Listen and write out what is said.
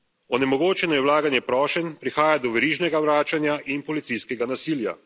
Onemogočeno je vlaganje prošenj, prihaja do verižnega vračanja in policijskega nasilja.